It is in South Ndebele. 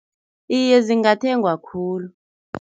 Iye, zingathengwa khulu.